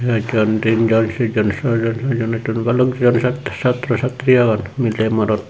ekjon tinjon sejjon sawjon satjon attojon balokjon chaat chatraw chatri agon miley morot.